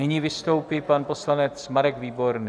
Nyní vystoupí pan poslanec Marek Výborný.